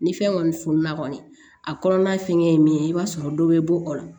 Ni fɛn kɔni fununna kɔni a kɔnɔna fɛngɛ ye min ye i b'a sɔrɔ dɔ bɛ bɔ o la